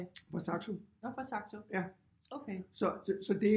Fra Saxo ja så det